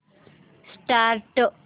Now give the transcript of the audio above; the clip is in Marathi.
स्टार्ट